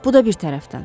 Bu da bir tərəfdən.